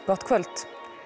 gott kvöld